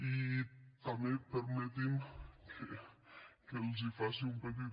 i també permeti’m que els faci un petit